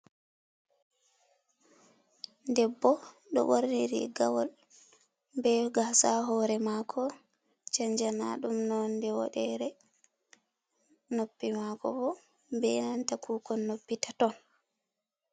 Debbo ɗo ɓorni riigawol be gaasa ha hoore maako chanjanaaɗum noonde woɗere noppi maako bo be nanta kuukon noppi taton.